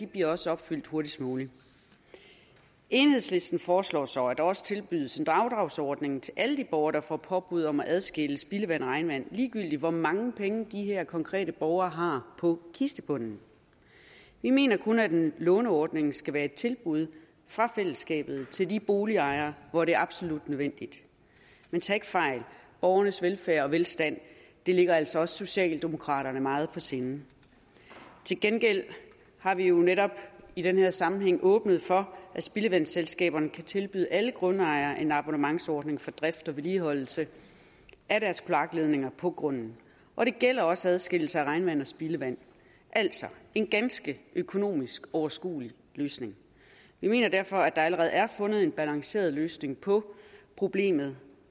bliver også opfyldt hurtigst muligt enhedslisten foreslår så at der også tilbydes en afdragsordning til alle de borgere der får påbud om at adskille spildevand og regnvand ligegyldigt hvor mange penge de her konkrete borgere har på kistebunden vi mener kun at en låneordning skal være et tilbud fra fællesskabet til de boligejere hvor det er absolut nødvendigt men tag ikke fejl borgernes velfærd og velstand ligger altså også socialdemokraterne meget på sinde til gengæld har vi jo netop i den her sammenhæng åbnet for at spildevandsselskaberne kan tilbyde alle grundejere en abonnementsordning for drift og vedligeholdelse af deres kloakledninger på grunden og det gælder også adskillelse af regnvand og spildevand altså en ganske økonomisk overskuelig løsning vi mener derfor at der allerede er fundet en balanceret løsning på problemet